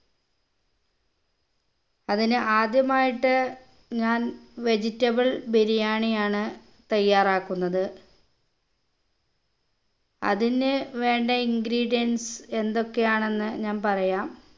അതിന് ആദ്യമായിട്ട് ഞാൻ vegetable ബിരിയാണി ആണ് തയ്യാറാക്കുന്നത് അതിന് വേണ്ട ingredients എന്തൊക്കെ ആണെന്ന് ഞാൻ പറയാം